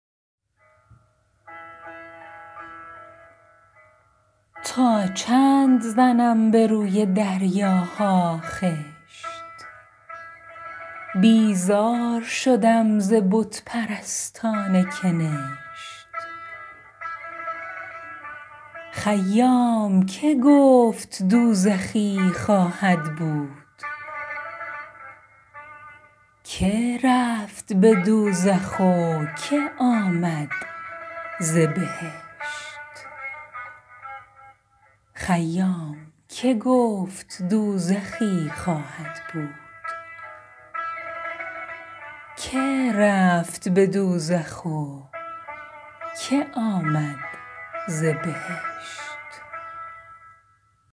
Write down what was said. تا چند زنم به روی دریاها خشت بیزار شدم ز بت پرستان کنشت خیام که گفت دوزخی خواهد بود که رفت به دوزخ و که آمد ز بهشت